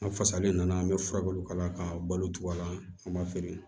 An fasalen nana an bɛ furaw k'ala k'a balo tugun a la an b'a feere